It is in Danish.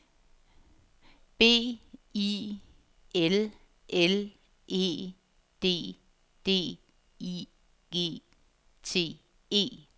B I L L E D D I G T E